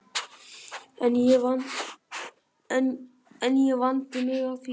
En ég vandi mig af því